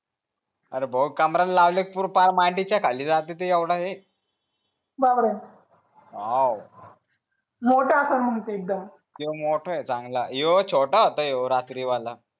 अरे कमरला लावत तर पार मांडीच्या खाली जाते ते एवढा हे बापरे हो मोठा असेल मग ते एकदम मोठा आहे चांगला छोटा होता हो रात्री वाला